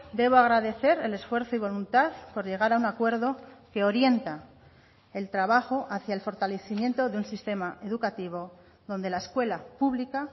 debo agradecer el esfuerzo y voluntad por llegar a un acuerdo que orienta el trabajo hacia el fortalecimiento de un sistema educativo donde la escuela pública